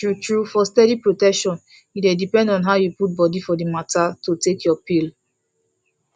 truetrue for steady protection e depend on how you put body for the matter to dey take your pill